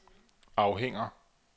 afhænger